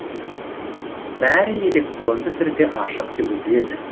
бәрі электронды түрде ашық жүргізіледі